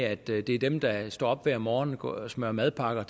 at det er dem der står op hver morgen og smører madpakker